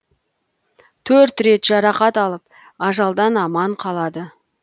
төрт рет жарақат алып ажалдан аман қалады